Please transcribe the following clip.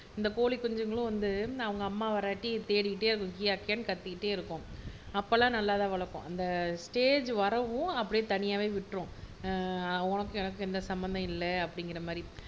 இந்த கோழி குஞ்சுகளும் வந்து அவங்க அம்மா வராட்டி தேடிகிட்டே கியாகியான்னு கத்திகிட்டே இருக்கும் அப்ப எல்லாம் நல்லாத் தான் வளர்க்கும் இந்த ஸ்டேஜ் வரவும் அப்டியே தனியாவே விட்டுரும்